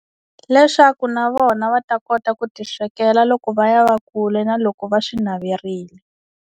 Leswaku na vona va ta kota ku ti swekela loko va ya va kule na loko va swi naverini.